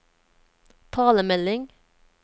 talemelding